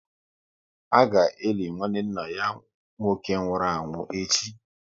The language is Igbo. A ga eli nwanne nna ya nwoke nwụrụ anwụ echi